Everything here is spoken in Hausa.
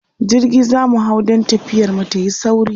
jirgi zamu hau dan tafiyar mu tayi sauri